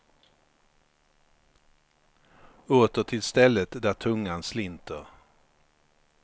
Åter till stället där tungan slinter.